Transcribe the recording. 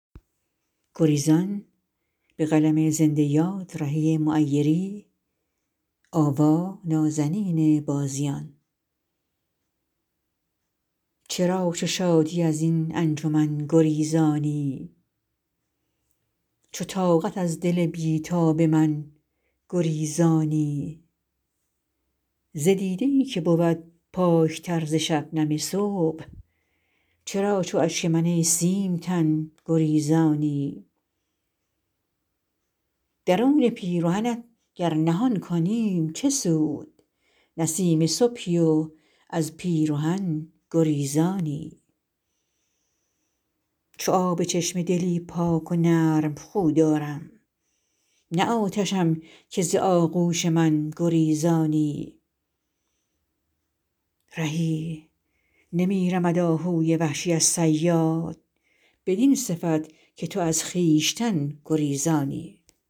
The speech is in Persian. چرا چو شادی از این انجمن گریزانی چو طاقت از دل بی تاب من گریزانی ز دیده ای که بود پاک تر ز شبنم صبح چرا چو اشک من ای سیم تن گریزانی درون پیرهنت گر نهان کنیم چه سود نسیم صبحی و از پیرهن گریزانی چو آب چشمه دلی پاک و نرم خو دارم نه آتشم که ز آغوش من گریزانی رهی نمی رمد آهوی وحشی از صیاد بدین صفت که تو از خویشتن گریزانی